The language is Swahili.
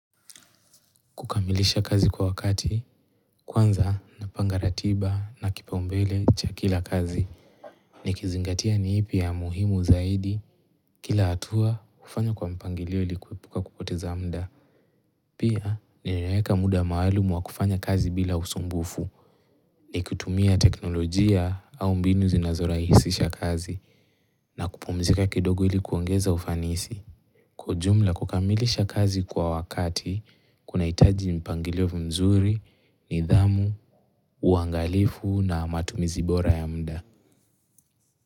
Kukamilisha kazi kwa wakati, kwanza napanga ratiba na kipaombele cha kila kazi, ni kizingatia ni ipi ya muhimu zaidi, kila hatua hufanya kwa mpangilio ili kuepuka kupoteza muda. Pia ninaeka muda maalumu wa kufanya kazi bila usumbufu, ni kutumia teknolojia au mbinu zinazorahisisha kazi, na kupumzika kidogo ili kuongeza ufanisi. Kwa ujumla kukamilisha kazi kwa wakati, kunahitaji mpangilio mzuri, nidhamu, uangalifu na matumizi bora ya muda.